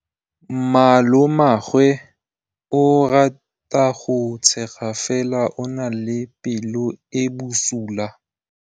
Malomagwe o rata go tshega fela o na le pelo e e bosula.